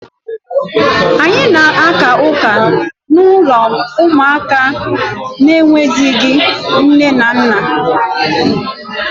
Anyị na-aka ụka n'ụlọ ụmụaka na-enweghịzị nne na nna.